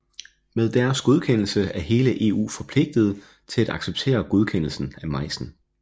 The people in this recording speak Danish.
Med deres godkendelse er hele EU forpligtet til at acceptere godkendelsen af majsen